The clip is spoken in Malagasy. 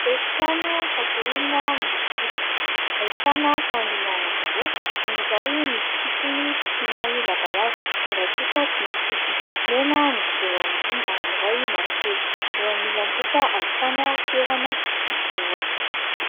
Efi-trano fatoriana miloko fotsy. Ahitana fandriana anankiroa, ny iray misy sisiny somary lavalava, ny iray kosa tsy misy sisiny. Mena ny kidoro ao ambony ary ny iray mavokely. Eo amin'ny ilany kosa ahitana toerana fidiovana.